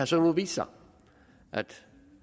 så vist sig at